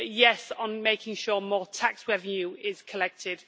Yes on making sure more tax revenue is collected.